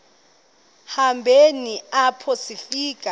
hambeni apho sifika